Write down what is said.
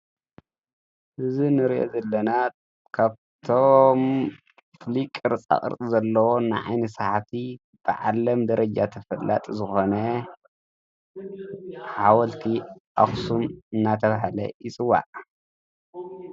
እዝ ንር ዘለና ካብቶም ፍሊቅር ፃቕርጥ ዘለዎ እናዓይኒ ሳሓቲ ብዓለም ደረጃ ተፈላጥ ዝኾነ ሓወልቲ ኣኽሳን እናተብሃለ ይጽዋዕ።